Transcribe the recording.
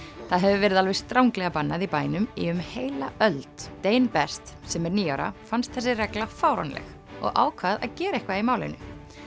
það hefur verið alveg stranglega bannað í bænum í um heila öld best sem er níu ára fannst þessi regla fáránleg og ákvað að gera eitthvað í málinu